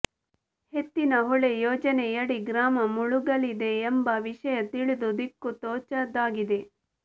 ಎತ್ತಿನಹೊಳೆ ಯೋಜನೆಯಡಿ ಗ್ರಾಮ ಮುಳುಗಲಿದೆ ಎಂಬ ವಿಷಯ ತಿಳಿದು ದಿಕ್ಕು ತೋಚದಾಗಿದೆ